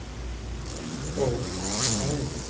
ও তাই নাকি?